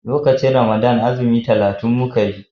lokacin Ramadan azumi talatin muka yi